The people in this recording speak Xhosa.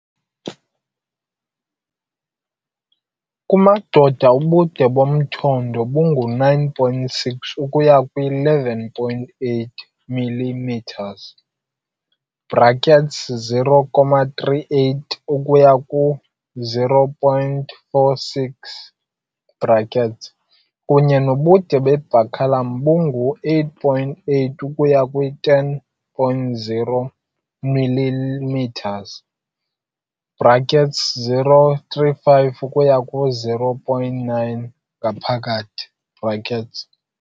Kwi-males, penis ubude ngu-9.6 ukuba 11.8 mm, 0.38 ukuba 0.46 kwi, kwaye baculum ubude ngu-8.8 ukuba 10.0 mm, 0.35 ukuba 0.39 in.